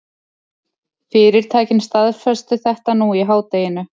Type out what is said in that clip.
Fyrirtækin staðfestu þetta nú í hádeginu